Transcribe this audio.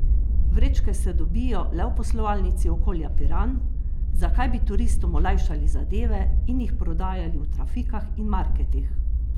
Vrečke se dobijo le v poslovalnici Okolja Piran, zakaj bi turistom olajšali zadeve in jih prodajali v trafikah in marketih?